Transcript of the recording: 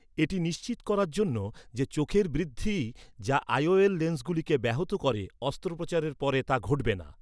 এটি নিশ্চিত করার জন্য যে, চোখের বৃদ্ধি, যা আই.ও.এল লেন্সগুলিকে ব্যাহত করে, অস্ত্রোপচারের পরে তা ঘটবে না।